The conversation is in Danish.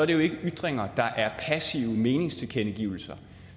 det jo ikke er ytringer der er passive meningstilkendegivelser